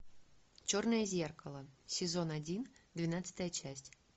черное зеркало сезон один двенадцатая часть